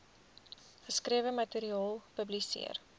geskrewe materiaal publiseer